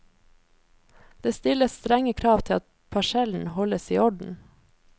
Det stilles strenge krav til at parsellen holdes i orden.